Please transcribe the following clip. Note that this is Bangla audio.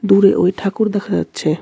দূরে ওই ঠাকুর দেখা যাচ্ছে.